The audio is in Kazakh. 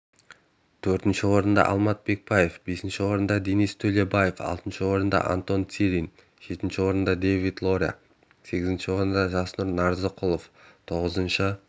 төртінші орында алмат бекбаев бесінші орында денис төлебаев алтыншы орында антон цирин жетінші орында давид лория сегізінші орында жасұр нарзықұлов тоғызыншы